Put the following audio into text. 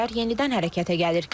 Gənclər yenidən hərəkətə gəlir.